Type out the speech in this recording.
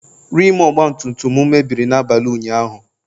rim ọgbatumtum m mebiri n'abalị ụnyahụ